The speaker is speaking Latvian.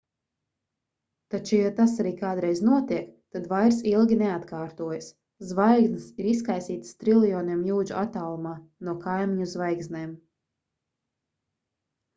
taču ja tas arī kādreiz notiek tad vairs ilgi neatkārtojas zvaigznes ir izkaisītas triljoniem jūdžu attālumā no kaimiņu zvaigznēm